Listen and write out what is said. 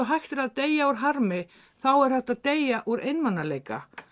hægt er að deyja úr harmi þá er hægt að deyja úr einmanaleika